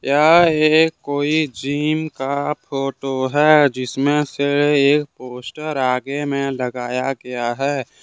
यह एक कोई जिम का फोटो है जिसमें से एक पोस्टर आगे में लगाया गया है।